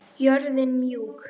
Jörðin mjúk.